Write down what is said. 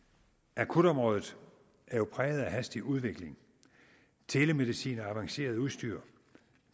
akutområdet er jo præget af hastig udvikling telemedicin og avanceret udstyr